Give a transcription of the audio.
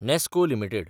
नॅस्को limited